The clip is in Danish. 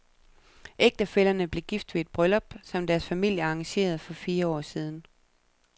Ægtefællerne blev gift ved et bryllup, som deres familier arrangerede for fire år siden.